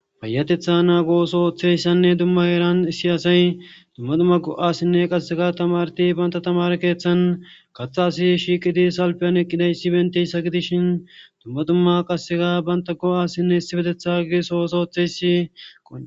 fayatetha naago sooththeyssanne dumma eeran issi asay dumma dumma go7asinne qassega tamarti banta tamare keeththan gatha asi shiiqidi salpeyan eqqidayssi benteyssa gidishin dumma dumma qasekka banta go7assinne Issipetetha etethagi soosootheysi